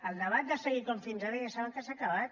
el debat de seguir com fins ara ja saben que s’ha acabat